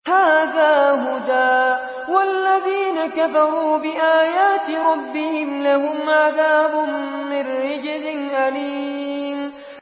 هَٰذَا هُدًى ۖ وَالَّذِينَ كَفَرُوا بِآيَاتِ رَبِّهِمْ لَهُمْ عَذَابٌ مِّن رِّجْزٍ أَلِيمٌ